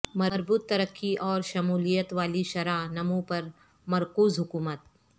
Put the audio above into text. مربوط ترقی اور شمولیت والی شرح نمو پر مرکوز حکومت